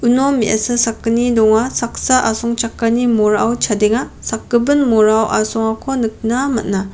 uno me·asa sakgni donga saksa asongchakani morao chadenga sakgipin morao asongako nikna man·a.